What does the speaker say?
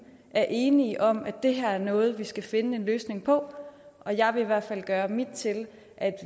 er enige om at det her er noget vi skal finde en løsning på og jeg vil i hvert fald gøre mit til at